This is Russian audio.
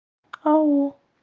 ау